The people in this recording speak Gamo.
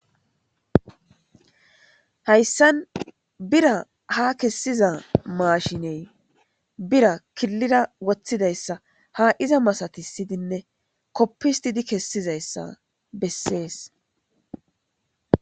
hayssan bira ha kessiza maashiney bira killira woththidayssa ha iza masatissidinne koppissidi kessizayssa bessees.